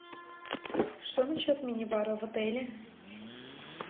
что на счет минибара в отеле